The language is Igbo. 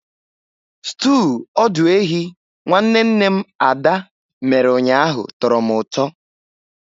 Stúu ọdụ ehi nwanne nne m Ada mere ụnyaahụ tọrọ m ụtọ.